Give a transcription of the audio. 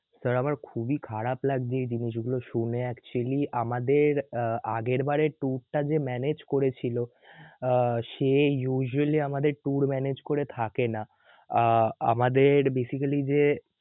sir আমার খুবই খারাপ লাগছে এই জিনিসগুলো শুনে actually আমাদের আহ আগের বারের tour টা যে manage করেছিল আহ সে usually আমাদের tour manage করে থাকে না আহ আ~আমাদের basically যে